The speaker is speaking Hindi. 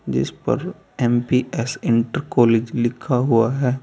जिस पर एन_पी_एस इंटर कॉलेज लिखा हुआ है।